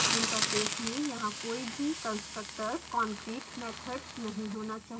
interface में यहाँ कोई भी constructors concrete मैथड्स नहीं होना चाहिए